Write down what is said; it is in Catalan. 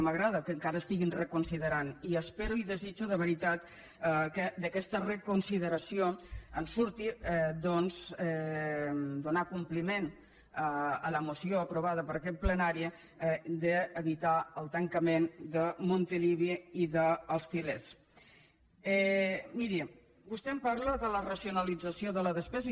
m’agrada que encara reconsiderin i espero i desitjo de veritat que d’aquesta reconsideració en surti donar compliment a la moció aprovada per aquest plenari d’evitar el tancament de montilivi i d’els tilmiri vostè em parla de la racionalització de la despesa